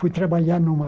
Fui trabalhar numa